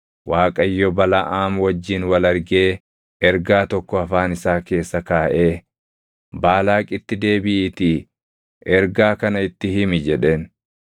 Waaqayyo Balaʼaam wajjin wal argee ergaa tokko afaan isaa keessa kaaʼee, “Baalaaqitti deebiʼiitii ergaa kana itti himi” jedheen.